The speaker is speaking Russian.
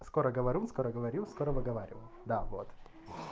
скороговорун скороговорил скоровыговаривал да вот